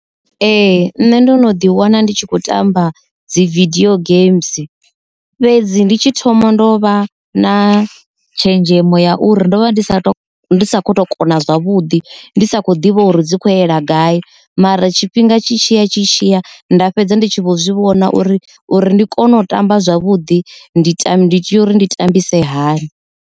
Ee, nṋe ndo no ḓi wana ndi tshi khou tamba dzi vidio gems fhedzi ndi tshi thoma ndo vha na tshenzhemo ya uri ndo vha ndi sa tu tu kona zwavhuḓi vhuḓi ndi sa kho ane ḓivha uri dzi kho ali gai mara tshifhinga tshi tshi tshi tshiya nda fhedza ndi tshi vho zwi vhona uri uri ndi kone u tamba zwavhuḓi ndi time ndi ya uri ndi tambise hani.